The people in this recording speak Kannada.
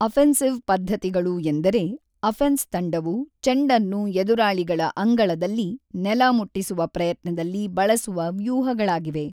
ಅಫೆನ್ಸಿವ್ ಪದ್ಧತಿಗಳು ಎಂದರೆ ಅಫೆನ್ಸ್‌ ತಂಡವು ಚೆಂಡನ್ನು ಎದುರಾಳಿಗಳ ಅಂಗಳದಲ್ಲಿ ನೆಲ ಮುಟ್ಟಿಸುವ ಪ್ರಯತ್ನದಲ್ಲಿ ಬಳಸುವ ವ್ಯೂಹಗಳಾಗಿವೆ.